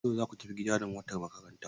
Yau zaku tafi gida da motar makaranta?